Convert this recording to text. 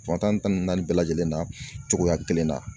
Fan tan ni naani bɛɛ lajɛlen na cogoya kelen na.